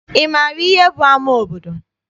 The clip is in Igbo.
Ị maara ihe bụ ama obodo?